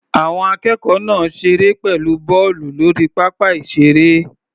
Àwọn akẹ́kọ̀ọ́ náà ṣeré pẹ̀lú bọ́ọ̀lù lórí pápá ìṣeré.